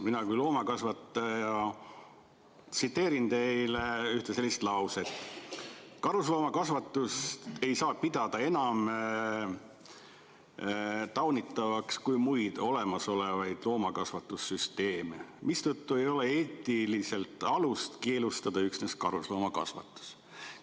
Mina kui loomakasvataja tsiteerin teile ühte sellist lauset: "Karusloomakasvatust ei saa pidada enam taunitavaks kui muid olemasolevaid loomakasvatussüsteeme, mistõttu leiame, et ei ole eetilist alust keelustada üksnes karusloomakasvatus.